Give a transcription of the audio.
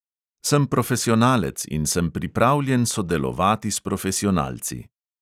Sem profesionalec in sem pripravljen sodelovati s profesionalci.